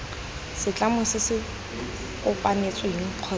setlamo se se kopanetsweng kgotsa